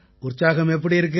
உற்சாகம் எப்படி இருக்கு